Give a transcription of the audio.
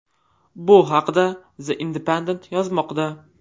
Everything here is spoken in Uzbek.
Bu haqda The Independent yozmoqda .